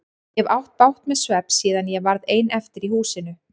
Ég hef átt bágt með svefn síðan ég varð ein eftir í húsinu.